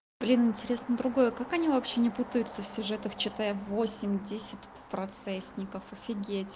блин интересно другое как они вообще не путаются в сюжетах читая восемь десять процессников офигеть